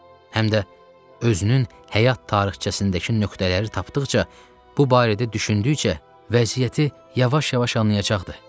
Həm də özünün həyat tarixçəsindəki nöqtələri tapdıqca, bu barədə düşündükcə vəziyyəti yavaş-yavaş anlayacaqdı.